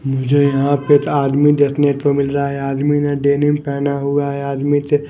मुझे यहाँ पे आदमी देखने को मिल रहा है आदमी ने डेनिम पहना हुआ है आदमी से --